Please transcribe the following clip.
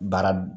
Baara